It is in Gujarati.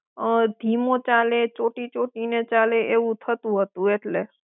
અં ધીમો ચાલે ચોંટી ચોંટીને ચાલે એવું થતું હતું એટલે.